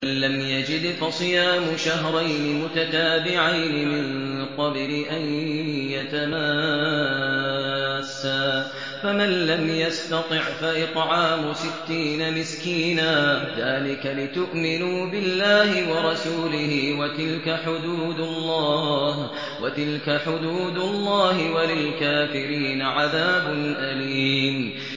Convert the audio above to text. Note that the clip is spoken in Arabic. فَمَن لَّمْ يَجِدْ فَصِيَامُ شَهْرَيْنِ مُتَتَابِعَيْنِ مِن قَبْلِ أَن يَتَمَاسَّا ۖ فَمَن لَّمْ يَسْتَطِعْ فَإِطْعَامُ سِتِّينَ مِسْكِينًا ۚ ذَٰلِكَ لِتُؤْمِنُوا بِاللَّهِ وَرَسُولِهِ ۚ وَتِلْكَ حُدُودُ اللَّهِ ۗ وَلِلْكَافِرِينَ عَذَابٌ أَلِيمٌ